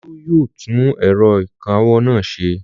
Olú yóò tún ẹ̀rọ ìkawó náà ṣe!